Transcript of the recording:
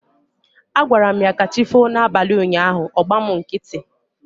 Agwaram ya 'kachifo' na abalị ụnyaahụ, ọ gba mụ nkịtị